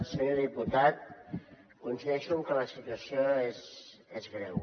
senyor diputat coincideixo en que la situació és greu